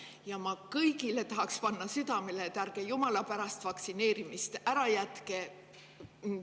Ja ma tahaks kõigile südamele panna, et ärge jumala pärast vaktsineerimist ära jätke.